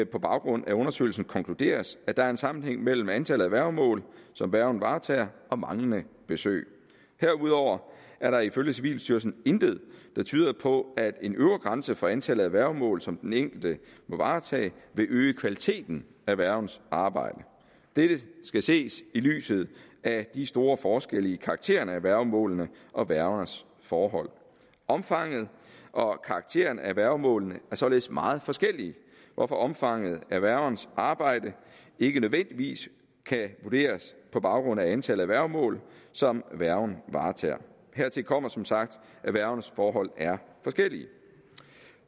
på baggrund af undersøgelsen konkluderes at der er en sammenhæng mellem antallet af værgemål som værgen varetager og manglende besøg herudover er der ifølge civilstyrelsen intet der tyder på at en øvre grænse for antallet af værgemål som den enkelte må varetage vil øge kvaliteten af værgens arbejde dette skal ses i lyset af de store forskelle i karakteren af værgemålene og værgernes forhold omfanget og karakteren af værgemålene er således meget forskellige hvorfor omfanget af værgens arbejde ikke nødvendigvis kan vurderes på baggrund af antallet af værgemål som værgen varetager hertil kommer som sagt at værgernes forhold er forskellige